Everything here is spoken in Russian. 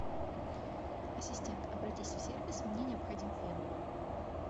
ассистент обратись в сервис мне необходим фен